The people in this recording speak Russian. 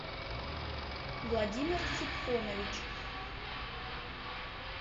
владимир супхонович